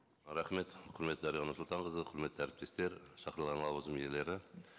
рахмет құрметті дариға нұрсұлтанқызы құрметті әріптестер шақырылған лауазым иелері